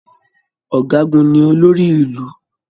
Ọgágun ní olórí Ìlú.